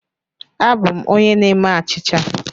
Abụ m onye na-eme achịcha.